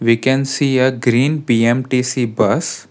we can see a green B_M_T_C bus.